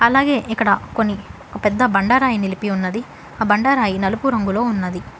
అలాగే ఇక్కడ కొన్ని పెద్ద బండరాయి నిలిపి ఉన్నది ఆ బండ రాయి నలుపు రంగులో ఉన్నది.